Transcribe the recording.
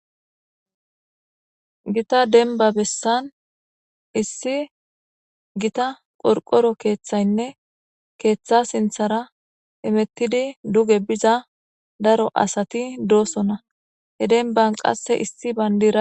Gita demba besan issi Gita qorqoro keethaynne ketha sinthara hemetid duge biza daro asati dosona, he demban qase issi bandiray